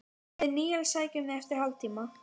Við Níels sækjum þig eftir hálftíma.